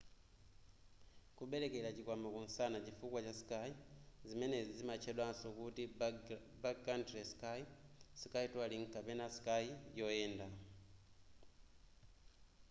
kubelekera chikwama kumsana chifukwa cha ski zimenezi zimatchedwaso kuti backcountry ski ski touring kapena ski yoyenda